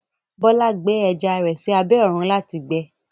Bọlá gbẹ ẹjà rẹ sí àbẹ̀ ọ̀run láti gbẹ̀